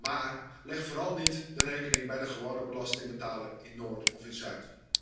Maar leg vooral niet de rekening bij de gewone belastingbetaler, in Noord of in Zuid.